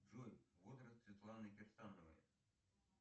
джой возраст светланы кирсановой